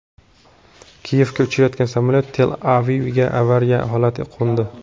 Kiyevga uchayotgan samolyot Tel-Avivga avariya holatida qo‘ndi.